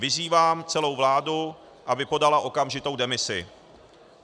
Vyzývám celou vládu, aby podala okamžitou demisi.